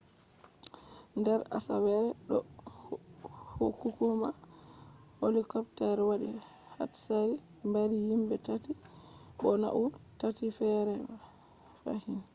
nder asawere ɗo hukuma helicopter waɗi hatsari mbari himɓe tati bo nauni tati feere fahin